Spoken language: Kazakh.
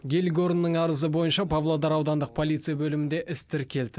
гельгорнның арызы бойынша павлодар аудандық полиция бөлімінде іс тіркелді